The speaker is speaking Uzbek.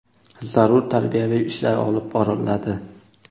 zarur tarbiyaviy ishlar olib boriladi.